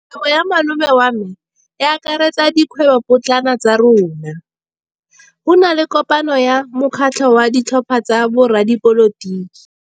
Kgwêbô ya malome wa me e akaretsa dikgwêbôpotlana tsa rona. Go na le kopanô ya mokgatlhô wa ditlhopha tsa boradipolotiki.